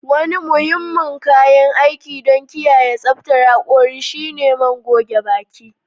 Wani muhimmin kayan aiki don kiyaye tsaftar hakori shine man goge baki.